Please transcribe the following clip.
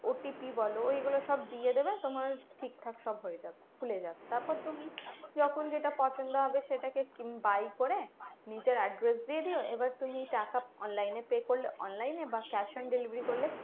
OTP বলো এগুলো সব দিয়ে দেবে তোমার ঠিকঠাক সব হয়ে যাবে খুলে যাবে। তারপর তুমি যখন যেটা পছন্দ হবে সেটাকে buy করে, নিজের address দিয়ে দিও। এবার তুমি টাকা online এ pay করলে online এ বা cash on delivery করলে